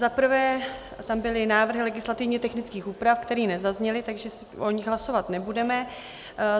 Za prvé tam byly návrhy legislativně technických úprav, které nezazněly, takže o nich hlasovat nebudeme.